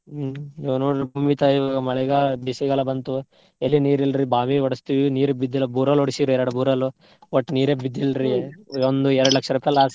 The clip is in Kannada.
ಹ್ಮ್ ಇವಾಗ್ ನೋಡ್ರಿ ಭೂಮಿ ತಾಯಿ ಮಳೆಗಾಲ ಬೇಸಿಗೆಕಾಲ ಬಂತು ಎಲ್ಲಿ ನೀರಿಲ್ರಿ. ಬಾವಿ ಹೊಡ್ಸ್ತೀವಿ ನೀರ್ ಬಿದ್ದಿಲ್ಲಾ borewell ಹೊಡ್ಸಿವ್ರಿ ಎರಡ್, borewell ಓಟ್ ನೀರೇ ಬಿದ್ದಿಲ್ರಿ ಒಂದ್ ಎರ್ಡ್ ಲಕ್ಷ ರೂಪಾಯಿ loss ರೀ.